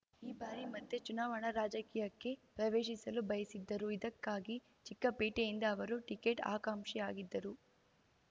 ಈ ಬಾರಿ ಮತ್ತೆ ಚುನಾವಣಾ ರಾಜಕೀಯಕ್ಕೆ ಪ್ರವೇಶಿಸಲು ಬಯಸಿದ್ದರು ಇದಕ್ಕಾಗಿ ಚಿಕ್ಕಪೇಟೆಯಿಂದ ಅವರು ಟಿಕೆಟ್‌ ಆಕಾಂಕ್ಷಿಯಾಗಿದ್ದರು